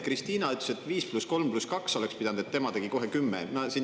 Krist`ina ütles, et 5 + 3 + 2 oleks pidanud, aga tema tegi kohe 10.